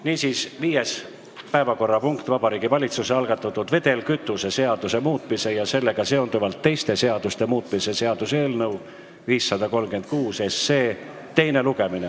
Niisiis, 5. päevakorrapunkt: Vabariigi Valitsuse algatatud vedelkütuse seaduse muutmise ja sellega seonduvalt teiste seaduste muutmise seaduse eelnõu 536 teine lugemine.